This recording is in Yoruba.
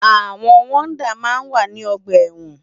Awòn wòdá má n wá ni ògbà èwòn